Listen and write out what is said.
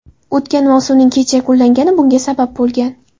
O‘tgan mavsumning kech yakunlangani bunga sabab bo‘lgan.